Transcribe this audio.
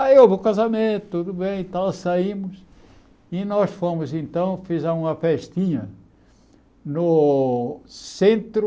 Aí houve o casamento, tudo bem tal, saímos, e nós fomos, então, fizemos uma festinha no centro